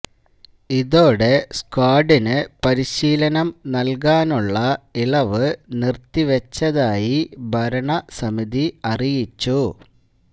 ഇതോടെ സ്ക്വാഡിന് പരിശീലനം നല്കാനുള്ള ഇളവ് നിര്ത്തിവച്ചതായി ഭരണസമിതി അറിയിച്ചു